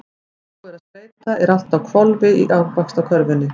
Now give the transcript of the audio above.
Þegar búið er að skreyta er allt á hvolfi í Ávaxtakörfunni.